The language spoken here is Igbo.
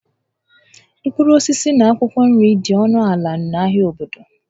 Mkpụrụ osisi na akwụkwọ nri dị ọnụ ala n'ahịa obodo